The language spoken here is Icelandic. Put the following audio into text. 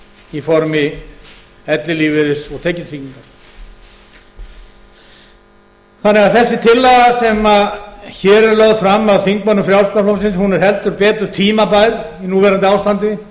í formi ellilífeyris og tekjutryggingar þannig að þessi tillaga sem hér er lögð fram af þingmönnum frjálslynda flokksins er heldur betur tímabær í núverandi ástandi